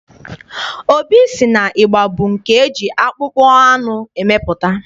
Obi sị na ịgba bụ nke eji akpụkpọ anụ emepụta.